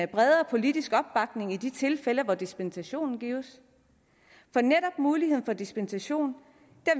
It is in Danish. bredere politisk opbakning i de tilfælde hvor dispensationen gives men netop muligheden for dispensation